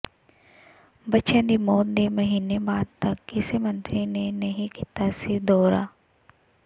ਬੱਚਿਆਂ ਦੀ ਮੌਤ ਦੇ ਮਹੀਨੇ ਬਾਅਦ ਤੱਕ ਕਿਸੇ ਮੰਤਰੀ ਨੇ ਨਹੀਂ ਕੀਤਾ ਸੀ ਦੌਰਾ